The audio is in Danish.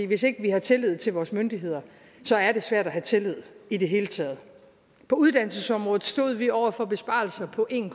hvis ikke vi har tillid til vores myndigheder er det svært at have tillid i det hele taget på uddannelsesområdet stod vi over for besparelser på en